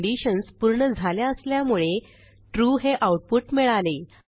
दोन्ही कंडिशन्स पूर्ण झाल्या असल्यामुळे ट्रू हे आऊटपुट मिळाले